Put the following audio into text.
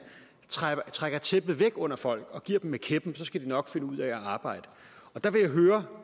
trækker trækker tæppet væk under folk og giver dem med kæppen skal de nok finde ud af at arbejde der vil jeg høre